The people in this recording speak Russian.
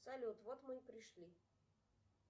салют вот мы и пришли